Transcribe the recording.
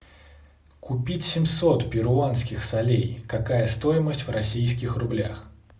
купить семьсот перуанских солей какая стоимость в российских рублях